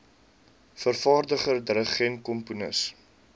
vervaardiger dirigent komponis